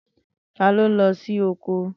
Tani o nlo si oko?